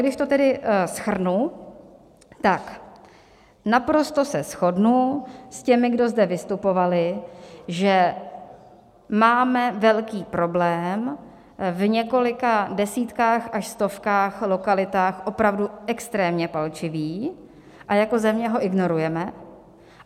Když to tedy shrnu, tak naprosto se shodnu s těmi, kdo zde vystupovali, že máme velký problém v několika desítkách až stovkách lokalit, opravdu extrémně palčivý, a jako země ho ignorujeme.